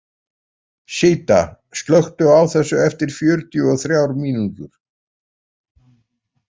Síta, slökktu á þessu eftir fjörutíu og þrjár mínútur.